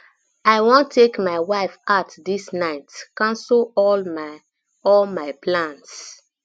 i wan take my wife out dis night cancel all my all my plans